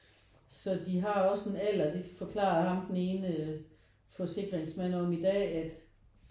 Så de har også en alder det forklarer ham den ene forsikringsmand om i dag at